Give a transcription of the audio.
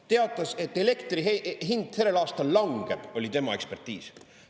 Ta teatas, et elektri hind sellel aastal langeb, oli tema ekspertiis.